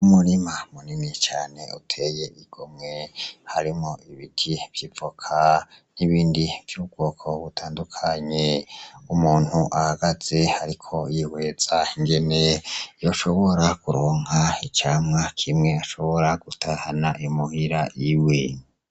Umurima munini cane uteye igomwe harimo ibiti vyivoka n'ibindi vy'ubwoko butandukanye umuntu ahagaze, ariko yiweza ingene yoshobora kuronka icamwa kimwe ashobora gutahana imuhira iwe.